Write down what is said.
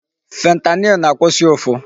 Fentanyl na-akwụsị ụfụ.